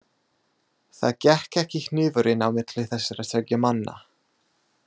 Það gekk ekki hnífurinn á milli þessara tveggja manna.